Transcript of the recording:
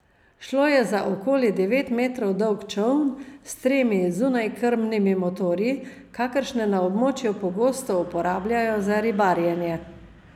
Šlo je za okoli devet metrov dolg čoln s tremi zunajkrmnimi motorji, kakršne na območju pogosto uporabljajo za ribarjenje.